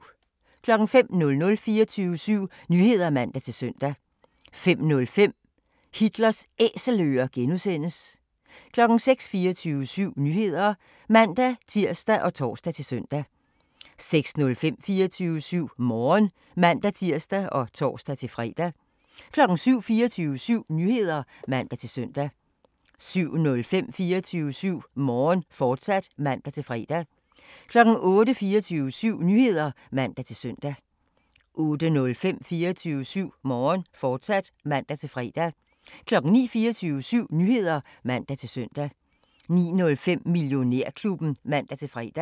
05:00: 24syv Nyheder (man-søn) 05:05: Hitlers Æselører (G) 06:00: 24syv Nyheder (man-tir og tor-søn) 06:05: 24syv Morgen (man-tir og tor-fre) 07:00: 24syv Nyheder (man-søn) 07:05: 24syv Morgen, fortsat (man-fre) 08:00: 24syv Nyheder (man-søn) 08:05: 24syv Morgen, fortsat (man-fre) 09:00: 24syv Nyheder (man-søn) 09:05: Millionærklubben (man-fre)